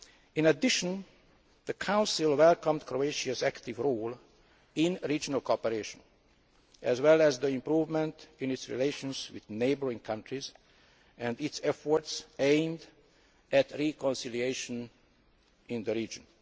In addition, the Council welcomed Croatia's active role in regional cooperation as well as the improvement in its relations with neighbouring countries and its efforts aimed at reconciliation in the region.